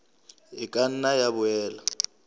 e ka nna ya boela